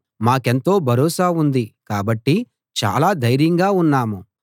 మాకెంతో భరోసా ఉంది కాబట్టి చాలా ధైర్యంగా ఉన్నాము